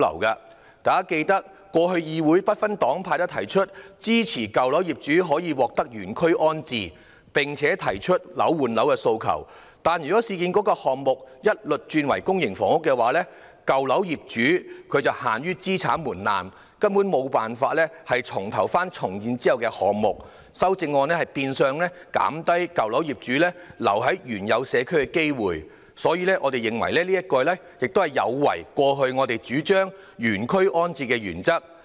大家應記得，過去議會不分黨派均支持舊樓業主可以獲得原區安置，並提出"樓換樓"的訴求，但若市建局的項目一律轉為公營房屋，舊樓業主限於資產門檻，根本無法選擇重建後的單位，修正案變相減低舊樓業主留在原有社區的機會，我們認為這有違過去我們主張的原區安置的原則。